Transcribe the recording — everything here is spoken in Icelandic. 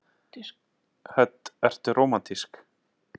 Hödd: Ertu rómantísk?